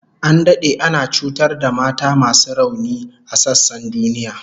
An dade ana cutar da mata masu rauni a sassan duniya